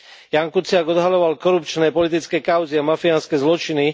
Ján Kuciak odhaľoval korupčné politické kauzy a mafiánske zločiny.